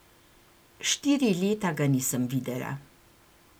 Štiri leta ga nisem videla.